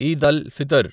Eid al Fitr